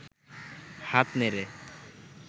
হাত নেড়ে